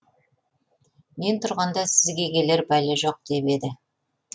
мен тұрғанда сізге келер бәле жоқ деп еді